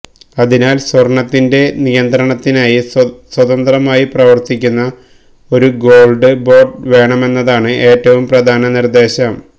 അതിനാല് സ്വര്ണ്ണത്തിന്റെ നിയന്തണത്തിനായി സ്വതന്ത്രമായി പ്രവര്ത്തിക്കുന്ന ഒരു ഗോള്ഡ് ബോര്ഡ് വേണമെന്നതാണ് ഏറ്റവും പ്രധാന നിര്ദ്ദേശം